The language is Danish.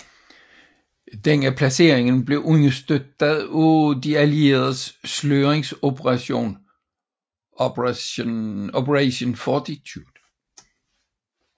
Denne placering blev understøttet af de allierede sløringsoperation Operation Fortitude